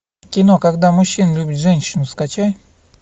кино когда мужчина любит женщину скачай